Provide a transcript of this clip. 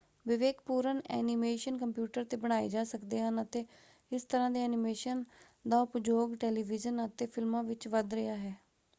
ਵਿਵੇਕਪੂਰਨ animation computer 'ਤੇ ਬਣਾਏ ਜਾ ਸਕਦੇ ਹਨ ਅਤੇ ਇਸ ਤਰ੍ਹਾਂ ਦੇ ਐਨੀਮੇਸ਼ਨ ਦਾ ਉਪਯੋਗ ਟੈਲੀਵੀਜ਼ਨ ਅਤੇ ਫਿਲਮਾਂ ਵਿੱਚ ਵੱਧ ਰਿਹਾ ਹੈ।